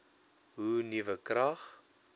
hoe nuwe krag